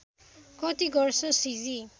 कति गर्छ सिजी